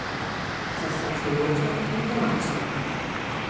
Zastrašujoča in temačna.